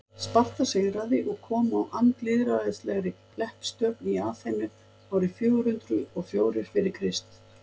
sparta sigraði og kom á andlýðræðislegri leppstjórn í aþenu árið fjögur hundruð og fjórir fyrir krist